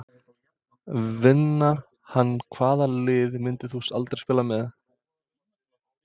Vinna hann Hvaða liði myndir þú aldrei spila með?